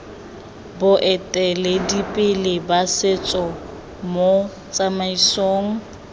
boeteledipele ba setso mo tsamaisong